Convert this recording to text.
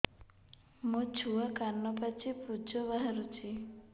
ମୋ ଛୁଆ କାନ ପାଚି ପୂଜ ବାହାରୁଚି